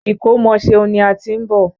Ìkómọ Ṣeun ni a ti ń bọ̀.